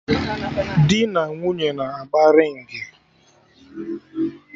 Dị na nwunye na-agba ringị